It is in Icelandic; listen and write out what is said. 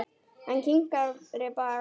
Hann kinkaði bara kolli.